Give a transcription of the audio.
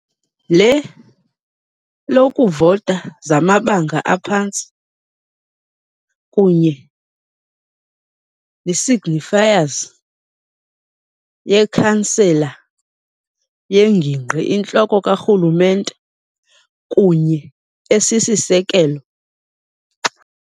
Le lokuvota zamabanga aphantsi kunye signifiers ye-Chancellor, yengingqi intloko karhulumente kunye esisisekelo